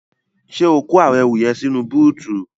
Ṣé o kó àwọn ẹrù yẹn sínú bóótù?